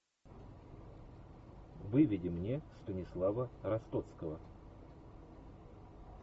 выведи мне станислава ростоцкого